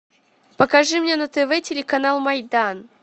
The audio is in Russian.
покажи мне на тв телеканал майдан